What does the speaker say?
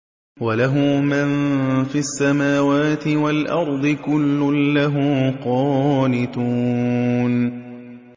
وَلَهُ مَن فِي السَّمَاوَاتِ وَالْأَرْضِ ۖ كُلٌّ لَّهُ قَانِتُونَ